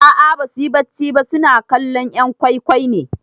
A'a basuyi bacci ba suna kallon 'yan gwai gwai ne.